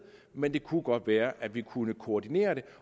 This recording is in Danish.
men det kunne godt være at vi kunne koordinere det